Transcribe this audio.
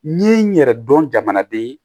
N ye n yɛrɛ dɔn jamanaden ye